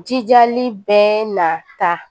Jijali bɛna taa